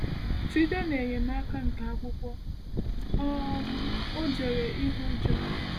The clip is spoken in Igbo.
Site n’Enyemaka nke Akwụkwọ, um Ọ Jere Ihu Ujo